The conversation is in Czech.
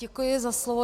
Děkuji za slovo.